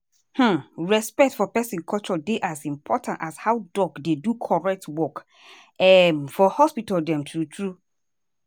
hmmm respect for peson culture dey as important as how doc dey do correct work um for hospital dem true true.